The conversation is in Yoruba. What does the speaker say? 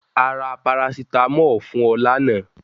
À rà paracetamọl fun ọ lána